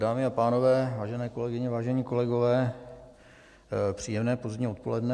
Dámy a pánové, vážené kolegyně, vážení kolegové, příjemné pozdní odpoledne.